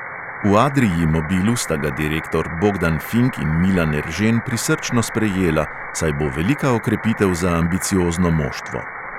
V adrii mobilu sta ga direktor bogdan fink in milan eržen prisrčno sprejela, saj bo velika okrepitev za ambiciozno moštvo.